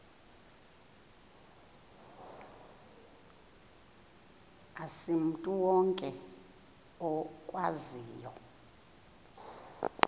asimntu wonke okwaziyo